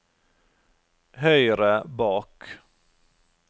høyre bak